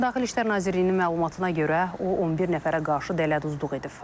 Daxili İşlər Nazirliyinin məlumatına görə, o 11 nəfərə qarşı dələduzluq edib.